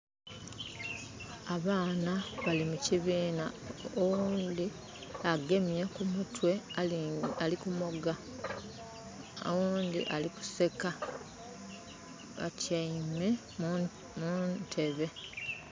Abaana bali mu kibiina. Owundi agemye kumutwe, alikumoga. Owundi ali kuseka. Batyaime muntebe.